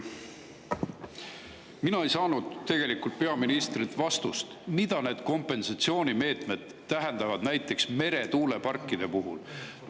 Mina ei saanud tegelikult peaministrilt vastust, mida need kompensatsioonimeetmed tähendavad näiteks meretuuleparkide puhul.